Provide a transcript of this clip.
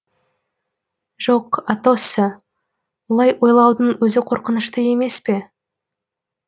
жоқ атосса олай ойлаудың өзі қорқынышты емес пе